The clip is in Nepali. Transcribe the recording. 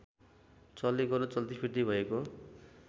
चलेको र चल्तीफिर्ती भएको